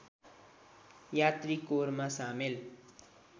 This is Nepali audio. यात्री कोरमा सामेल